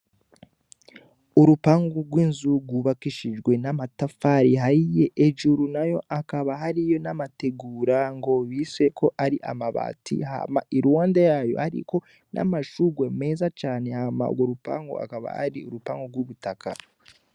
Urupangu rw'inzu rwubakishijwe n'amatafari ahiye, hejuru nayo hakaba hariyo n'amategura ngo biswe ko ari amabati hama iruhande yayo hariko n'amashugwe meza cane hama urwo rupangu rukaba ari urupangu rw'ubutaka.